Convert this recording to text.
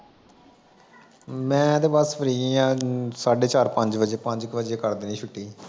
ਮੈਂ ਤੇ ਬੱਸ ਫਰੀ ਆ। ਸਾਡੇ ਚਾਰ ਪੰਜ ਵਜੇ। ਪੰਜ ਕੁ ਵਜੇ ਕਰ ਦਿੰਦੇ ਛੁੱਟੀ